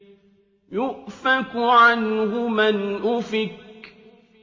يُؤْفَكُ عَنْهُ مَنْ أُفِكَ